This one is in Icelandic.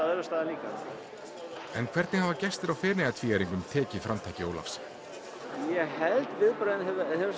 öðrum stað líka en hvernig hafa gestir á Feneyjatvíæringnum tekið framtaki Ólafs ég held að viðbrögðin